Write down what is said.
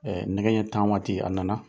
nɛgɛ ɲɛ tan waati a na na.